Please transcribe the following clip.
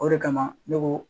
O de kama ne ko.